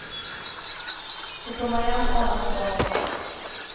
De kommer igjen år etter år.